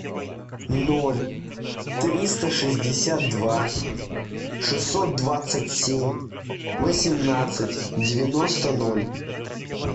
ноль триста шестьдесят два шестьсот двадцать семь восемнадцать девяносто ноль